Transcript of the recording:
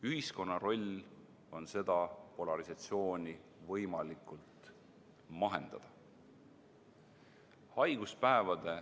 Ühiskonna roll on seda polarisatsiooni võimalikult mahendada.